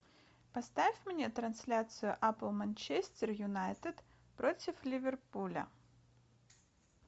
поставь мне трансляцию апл манчестер юнайтед против ливерпуля